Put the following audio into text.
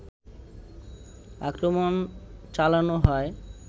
আক্রমণ চালানো হয়